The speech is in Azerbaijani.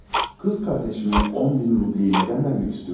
Bacıma 10.000 rublu niyə vermək istəyirsiniz?